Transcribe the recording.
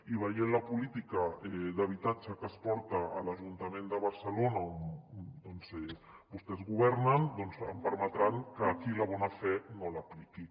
i veient la política d’habitatge que es porta a l’ajuntament de barcelona on vostès governen doncs em permetran que aquí la bona fe no l’apliqui